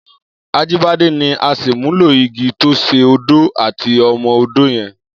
Ajibade ni àṣémúló-igi tó ṣé ódó àtí ọ̀mọ̀-ódó yèn